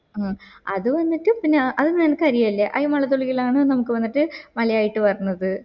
ഹ് അത് വന്നിട്ട് പിന്നെ അതി നിനക്ക് അരിയെല്ലെ അയ് മളത്തുള്ളികളാണ് നമക് വന്നിട്ട് മളയായിട്ട് വര്ന്നത്